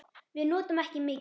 Við notum ekki mikið.